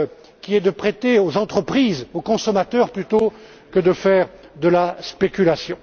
qui est de prêter aux entreprises et aux consommateurs plutôt que de faire de la spéculation.